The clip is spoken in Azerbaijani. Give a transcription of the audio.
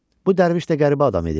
Bu dərviş də qəribə adam idi.